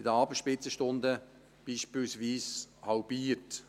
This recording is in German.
in den Abendspitzenstunden haben sie sich beispielsweise halbiert.